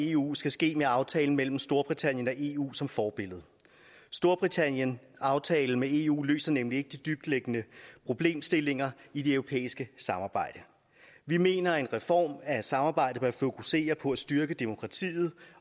eu skal ske med aftalen mellem storbritannien og eu som forbillede storbritanniens aftale med eu løser nemlig ikke de dybtliggende problemstillinger i det europæiske samarbejde vi mener at en reform af samarbejdet bør fokusere på at styrke demokratiet